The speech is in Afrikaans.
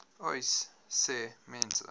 uys sê mense